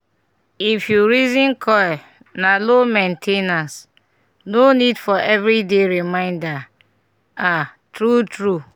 if you reason coil na low main ten ance - no need for every day reminder ah true true